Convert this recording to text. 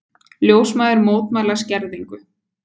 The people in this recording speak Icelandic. Ljósmæður mótmæla skerðingu